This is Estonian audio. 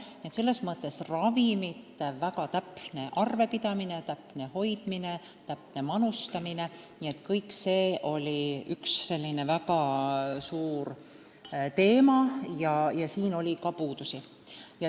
Nii et ravimite üle täpne arvepidamine, nende hoidmine ja õige manustamine oli üks selline suur teema ning leiti ka puudusi.